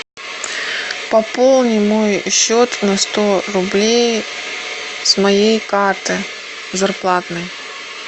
пополни мой счет на сто рублей с моей карты зарплатной